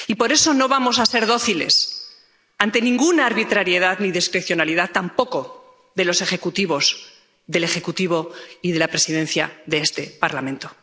Y por eso no vamos a ser dóciles ante ninguna arbitrariedad ni discrecionalidad, tampoco de los Ejecutivos, del Ejecutivo y de la Presidencia de este Parlamento.